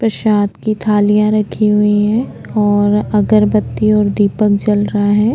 प्रसाद की थालियां रखी हुई हैं और अगरबत्ती और दीपक जलरा है।